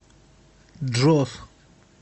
джос